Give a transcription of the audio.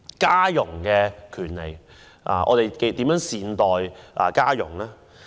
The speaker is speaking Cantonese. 家傭的權利方面，我們如何善待家傭？